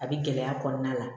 A bɛ gɛlɛya kɔnɔna la